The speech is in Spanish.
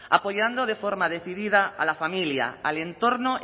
apoyando de forma decidida a la familia al entorno